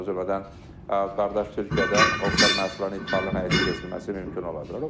O cümlədən qardaş Türkiyədən oxşar məhsulların ixalın həyata keçirilməsi mümkün ola bilər.